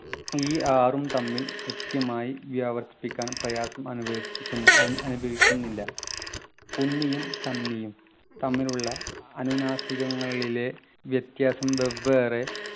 ഈ ആറും തമ്മിൽ കൃത്യമായി വ്യാവർത്തിക്കാൻ പ്രയാസം അനുഭവിപ്പിക്കു ഏർ അനുഭവിക്കുന്നില്ല കുന്നിയും കന്നിയും തമ്മിലുള്ള അനുനാസികങ്ങളിലെ വ്യത്യാസം വെവ്വേറെ